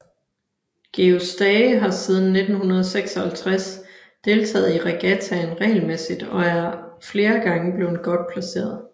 Georg Stage har siden 1956 deltaget i regattaen regelmæssigt og er flere gange blevet godt placeret